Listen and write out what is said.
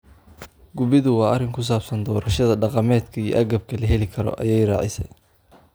Gubiddu waa arrin ku saabsan doorashada dhaqameed iyo agabka la heli karo,” ayay raacisay.